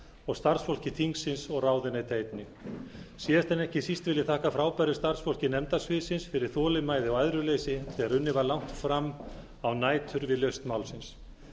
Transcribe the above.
og starfsfólki þingsins og ráðuneyta einnig síðast en ekki síst vil ég þakka frábæru starfsfólki nefnda sviðsins fyrir þolinmæði og æðruleysi þegar unnið var langt fram á nætur við lausn málsins